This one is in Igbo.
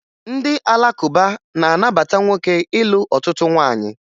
Ndị Alakụba na-anabata nwoke ịlụ ọtụtụ nwaanyị